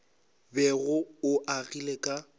bego o o agile ka